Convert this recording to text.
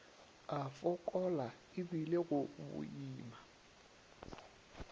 a fokola ebile go boima